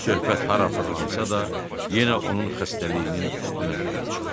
Söhbət hara fırlansa da, yenə onun xəstəliyinin üstünə gəlib çıxırdı.